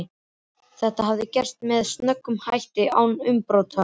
Þetta hafði gerst með snöggum hætti og án umbrota.